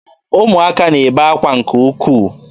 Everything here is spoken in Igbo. Ụmụaka n'ebe akwa nke ukwuu.